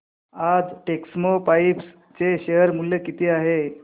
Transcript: आज टेक्स्मोपाइप्स चे शेअर मूल्य किती आहे